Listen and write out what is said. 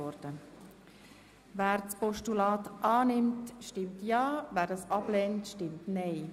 Wer das Postulat annimmt, stimmt ja, wer es ablehnt, stimmt nein.